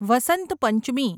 Vasant Panchami